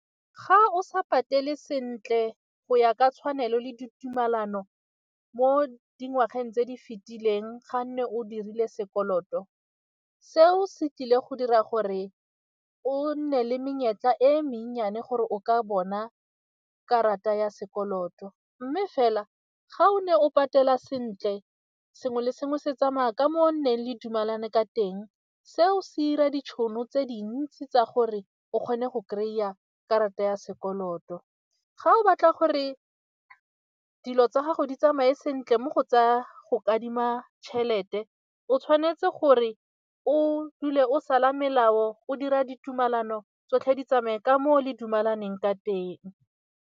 Ga o sa patele sentle go ya ka tshwanelo le ditumelano mo dingwageng tse di fetileng ga nne o dirile sekoloto, seo se tlile go dira gore o nne le menyetla e mennyane gore o ka bona karata ya sekoloto mme fela ga o ne o patela sentle sengwe le sengwe se tsamaya ka mo o nonneng le dumalane ka teng seo se ira ditšhono tse dintsi tsa gore o kgone go kry-a karata ya sekoloto. Ga o batla gore dilo tsa gago di tsamaye sentle mo go tsaya go kadima tšhelete o tshwanetse gore o dule o sala melao, o dira ditumelano tsotlhe di tsamaye ka moo le dumalaneng ka teng.